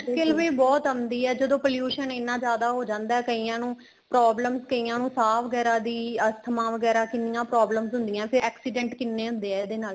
ਮੁਸ਼ਕਿਲ ਵੀ ਬਹੁਤ ਆਉਦੀ ਏ ਜਦੋਂ pollution ਐਨਾ ਜਿਆਦਾ ਹੋ ਜਾਂਦਾ ਏ ਕਈਆਂ ਨੂੰ problem ਕਈਆਂ ਨੂੰ ਸਾਹ ਵਗੈਰਾ ਦੀ asthma ਵਗੈਰਾ ਕਿੰਨੀਆਂ problems ਹੁੰਦੀਆਂ ਫ਼ੇਰ accident ਕਿੰਨੇ ਹੁੰਦੇ ਆ ਇਹਦੇ ਨਾਲ